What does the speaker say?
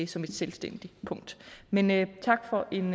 som et selvstændigt punkt men men tak for en